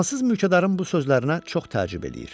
Fransız mülkədarın bu sözlərinə çox təəccüb eləyir.